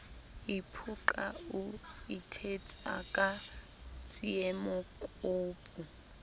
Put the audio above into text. iphoqa o ithetsa ka tsiemokopu